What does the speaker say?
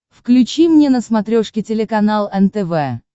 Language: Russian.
включи мне на смотрешке телеканал нтв